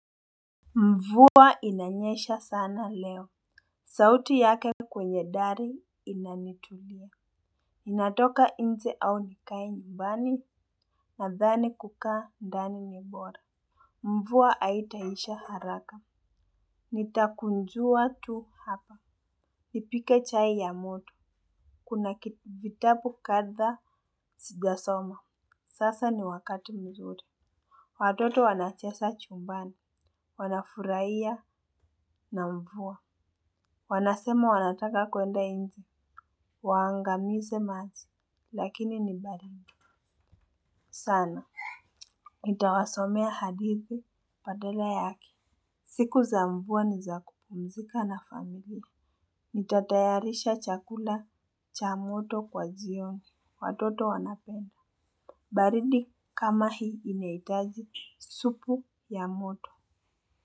Mvuwa inanyesha sana leo. Sauti yake kwenye dari inanitulia natoka inje au nikae nyumbani nadhani kukaa ndani ni bora. Mvuwa haitaisha haraka nitakunjuwa tu hapa. Nipike chai ya moto. Kuna kiti, vitabu kadha sijasoma. Sasa ni wakati mzuri. Watoto wanacheza chumbani. Wanafurahiya na mvuwa wanasema wanataka kwenda inje waangamize maji lakini ni baridi sana nitawasomea hadithi badala yake siku za mvuwa ni za kupumzika na famili nitatayarisha chakula cha moto kwa jioni watoto wanapenda baridi kama hii inahitaji supu ya moto Muzika.